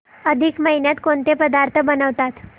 अधिक महिन्यात कोणते पदार्थ बनवतात